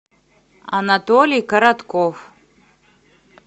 анатолий коротков